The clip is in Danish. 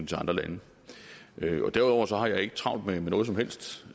til andre lande derudover har jeg ikke travlt med noget som helst